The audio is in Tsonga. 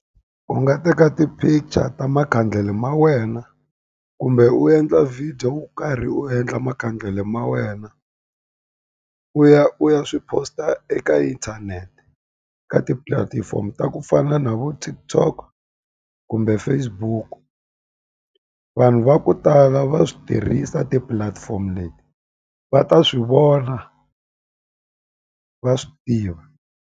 Uu nga teka ti-picture ta makhandlele ma wena, kumbe u endla video wo karhi u endla makhandlele ma wena. U ya u ya swi post-a eka inthanete, ka tipulatifomo ta ku fana na vo TikTok kumbe Facebook-u. Vanhu va ku tala va swi tirhisa ti-platform leti, va ta swi vona va swi tiva.